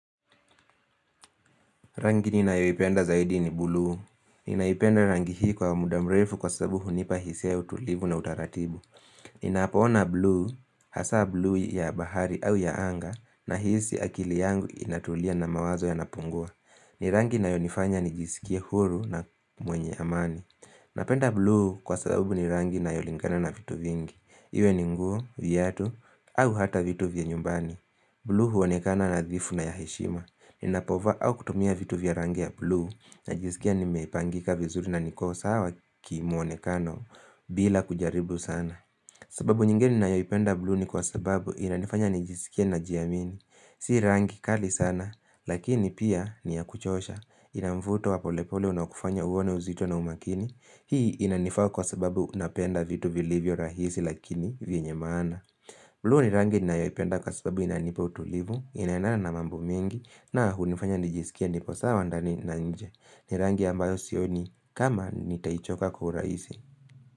Rangi ninayoipenda zaidi ni buluu. Ninaipenda rangi hii kwa muda mrefu kwa sababu hunipa hisi ya utulivu na utaratibu. Ninapo ona buluu, hasa buluu ya bahari au ya anga nahisi akili yangu inatulia na mawazo yanapungua. Ni rangi inayonifanya nijisikie huru na mwenye amani. Napenda buluu kwa sababu ni rangi inayolingana na vitu vingi. Iwe ni nguo, viatu, au hata vitu vya nyumbani. Blue huonekana nadhifu na ya heshima Ninapovaa au kutumia vitu vya rangi ya blue najisikia nimepangika vizuri na niko sawa ki muonekano bila kujaribu sana sababu nyingini nayoipenda blue ni kwa sababu inanifanya nijisikie najiamini Si rangi kali sana lakini pia ni ya kuchosha ina mvuto wa polepole unakufanya uone uzito na umakini Hii inanifaa kwa sababu unapenda vitu vilivyo rahisi lakini vyenye maana blue ni rangi ninayoipenda kwa sababu inanipa utulivu, inaendana na mambo mengi na hunifanya nijisikie nipo sawa ndani na nje. Ni rangi ambayo sioni kama nitaichoka kwa urahisi.